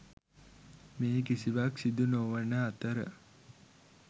මේ කිසිවක් සිදු නොවන අතර